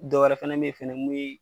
Dɔwɛrɛ fɛnɛ be yen fɛnɛ mun ye